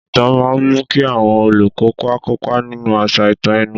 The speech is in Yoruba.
Ìtàn máa ń mú kí àwọn olùkópa kópa nínú àṣà ìtàn ẹnu.